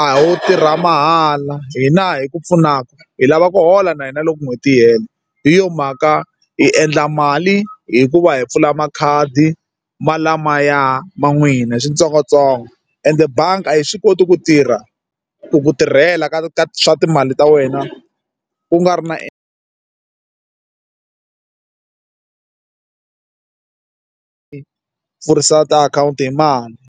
a ho tirha mahala hina hi ku pfunaka hi lava ku hola na hina loko n'hweti yi hela hi yo mhaka hi endla mali hikuva hi pfula makhadi ma lamaya ma n'wina hi swintsongontsongo ende bangi a yi swi koti ku tirha ku tirhela ka ka swa timali ta wena u nga ri na pfurisa tiakhawunti hi mali.